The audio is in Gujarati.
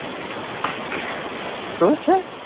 શું છે?